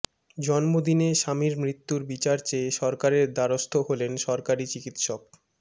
জন্মদিনে স্বামীর মৃত্যুর বিচার চেয়ে সরকারের দ্বারস্থ হলেন সরকারি চিকিৎসক